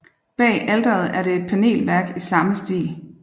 Bag alteret er det et panelværk i samme stil